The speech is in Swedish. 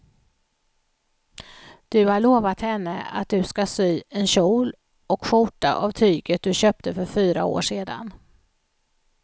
Du har lovat henne att du ska sy en kjol och skjorta av tyget du köpte för fyra år sedan.